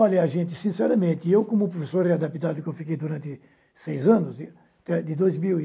Olha, a gente, sinceramente, eu como professor readaptado que eu fiquei durante seis anos, de dois mil